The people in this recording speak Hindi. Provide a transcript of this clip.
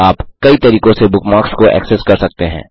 आप कई तरीकों से बुकमार्क्स को एक्सेस कर सकते हैं